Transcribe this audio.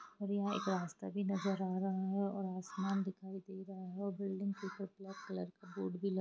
और यहाँ एक रस्ता भी नज़र आ रहा है और आसमान दिखाई दे रहा है और बिल्डिंग कुछ ब्लैक कलर का बोर्ड भी लग--